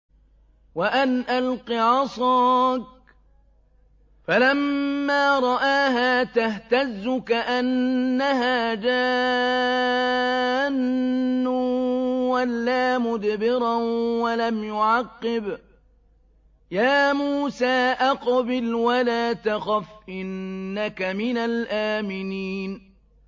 وَأَنْ أَلْقِ عَصَاكَ ۖ فَلَمَّا رَآهَا تَهْتَزُّ كَأَنَّهَا جَانٌّ وَلَّىٰ مُدْبِرًا وَلَمْ يُعَقِّبْ ۚ يَا مُوسَىٰ أَقْبِلْ وَلَا تَخَفْ ۖ إِنَّكَ مِنَ الْآمِنِينَ